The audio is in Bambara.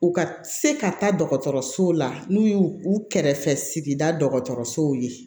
U ka se ka taa dɔgɔtɔrɔsow la n'u y'u u kɛrɛfɛ sigida dɔgɔtɔrɔsow ye